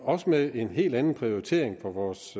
også med en helt anden prioritering for vores